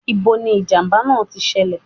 Ní bo ni ìjàmbá náà ti ṣẹlẹ̀